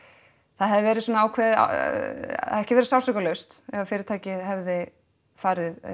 það hefði verið svona ákveðið eða ekki verið sársaukalaust ef fyrirtækið hefði farið